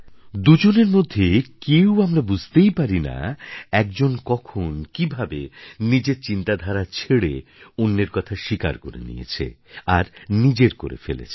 দুজনের মধ্যে কেউ আমারা বুঝতেই পারি না এক জন কখন কিভাবে নিজের চিন্তধারা ছেড়ে অন্যের কথা স্বীকার করে নিয়েছে আর নিজের করে ফেলেছে